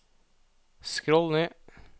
skroll ned